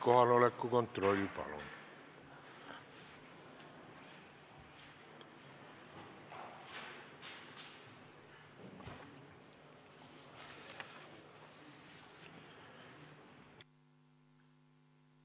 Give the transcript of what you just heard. Kohaloleku kontroll, palun!